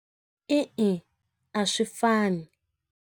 E-e a swi fani.